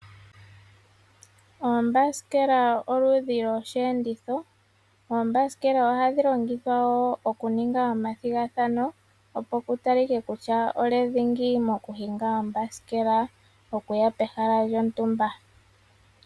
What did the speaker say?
Oombasikela odho oludhi lwosheenditho. Oombasikela ohadhi longithwa wo okuninga omathigathano opo ku talike kutya olye dhingi mokuhinga ombasikela okuya pehala lyontumba.